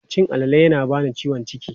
Cin alale yana bani ciwon ciki.